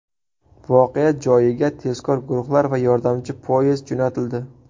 Voqea joyiga tezkor guruhlar va yordamchi poyezd jo‘natildi.